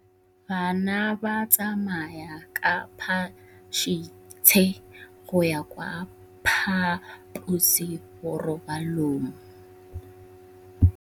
Bana ba tsamaya ka phašitshe go ya kwa phaposiborobalong.